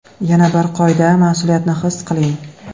Yana bir qoida – mas’uliyatni his qiling.